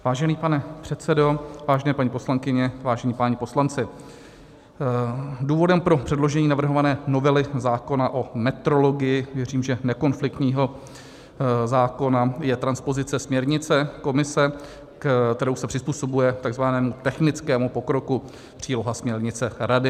Vážený pane předsedo, vážené paní poslankyně, vážení páni poslanci, důvodem pro předložení navrhované novely zákona o metrologii - věřím, že nekonfliktního zákona - je transpozice směrnice Komise, kterou se přizpůsobuje takzvanému technickému pokroku, příloha směrnice Rady.